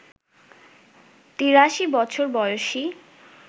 ৮৩ বছর বয়সী